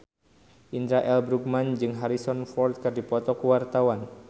Indra L. Bruggman jeung Harrison Ford keur dipoto ku wartawan